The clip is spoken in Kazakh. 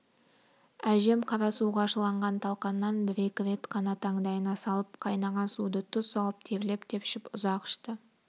әжем қара суға шыланған талқаннан бір-екі рет қана таңдайына салып қайнаған суды тұз салып терлеп-тепшіп ұзақ ішті